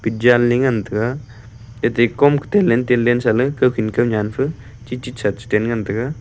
janley ngan taiga ate komka telen telen sahley kawkhin kawnyan fe chitchit saten ngan taiga.